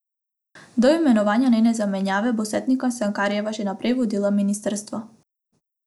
Do imenovanja njene zamenjave bo Setnikar Cankarjeva še naprej vodila ministrstvo.